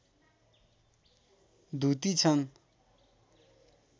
द्युति छन्